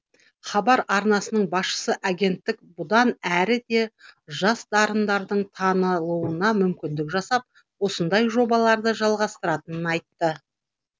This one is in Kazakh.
хабар арнасының басшысы агенттік бұдан әрі де жас дарындардың танылуына мүмкіндік жасап осындай жобаларды жалғастыратынын айтты